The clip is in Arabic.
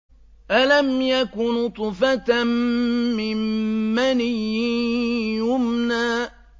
أَلَمْ يَكُ نُطْفَةً مِّن مَّنِيٍّ يُمْنَىٰ